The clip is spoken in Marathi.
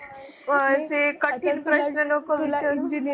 असे कठीण प्रश्न नको विचारू.